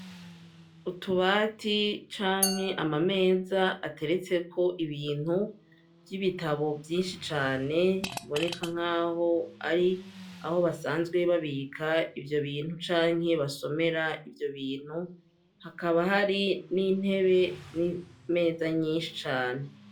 Utubati canke ama meza ateretse ko ibintu vy'ibitabo vyinshi cane biboneka nk'aho ari aho basanzwe babika ivyo bintu canke basomera ivyo bintu hakaba hari n'intebe n'imeza nyinshi cane.